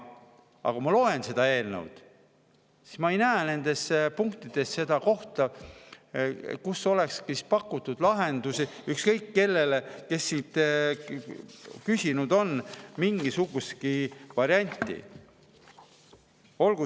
Aga kui ma loen seda eelnõu, siis ma ei näe nendes punktides seda kohta, kus oleks pakutud ükskõik kellele, kes on küsinud, lahendusi, mingisugustki varianti.